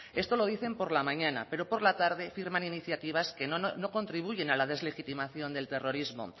esto lo dicen por la mañana pero por la tarde firman iniciativas que no contribuyen a la deslegitimación del terrorismo